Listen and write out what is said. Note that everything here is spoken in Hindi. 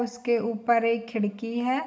उसके ऊपर एक खिड़की है।